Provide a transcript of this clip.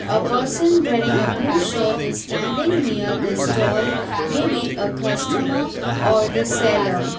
a person wearing a blue shirt is standing near the stall may be a customer or the seller.